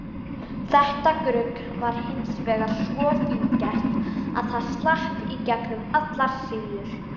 Þetta grugg var hins vegar svo fíngert að það slapp í gegnum allar síur.